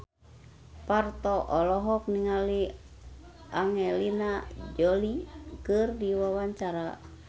Parto olohok ningali Angelina Jolie keur diwawancara